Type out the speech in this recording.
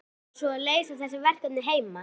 Á maður svo að leysa þessi verkefni heima?